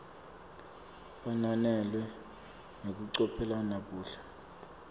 bananele ngekucophelela buhle